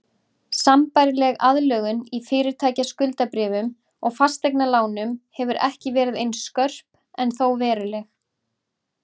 Sambærileg aðlögun í fyrirtækjaskuldabréfum og fasteignalánum hefur ekki verið eins skörp en þó veruleg.